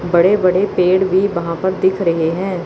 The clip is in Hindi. बड़े बड़े पेड़ भी वहां पर दिख रहे हैं।